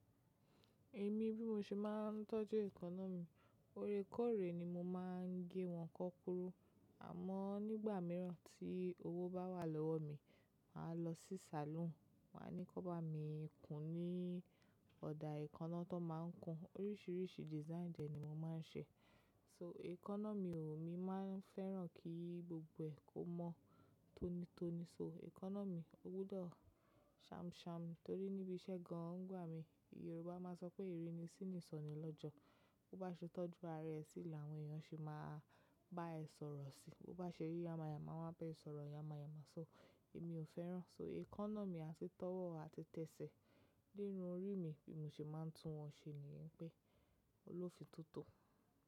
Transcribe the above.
Èmi bí mo ṣe máa ń tọ́jú èékánná mi, ore kóre ni mo máa ń gé wọn kan kúrú. Àmọ́ nígbà mìíràn tí owó bá wà lọ́wọ́ mi, màá lọ sí salon, màá ní kí wọ́n bá mi kún ní ọ̀dà èékánná tó máa ń kún. Oríṣiríṣi design de ní mo máa ń ṣe. So, èékánná mi ò, mi máa ń fẹ́ràn kí gbogbo ẹ́ kó mọ́ tónítóní. So èékánná mi, ó gbọ́dọ̀ sham sham torí níbi iṣẹ́ gan-an nigba mi, Yorùbá máa ń sọ pé ìrínisí ni ìsọnà lọ́jọ́. Bi o bá ṣe tọ́jú ara ẹ sí, ni àwọn èèyàn ṣe máa bá ẹ sọ̀rọ̀ si. Bi bá ṣe ri yamáyàmá, wọ́n á bá ẹ sọ̀rọ̀ yamáyàmá. So èmi ò fẹ́ràn. So, èékánná mi á sì tọ́wọ́ àti tẹsẹ̀ derun orí mi bí mo ṣe máa ń tún wọn ṣe ni yín bé, lolófin tótò.